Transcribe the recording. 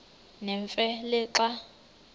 nemfe le xa